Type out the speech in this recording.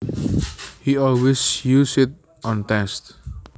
He always used it on tests